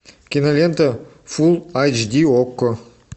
кинолента фулл айч ди окко